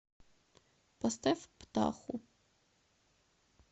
поставь птаху